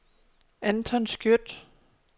Anton Skjødt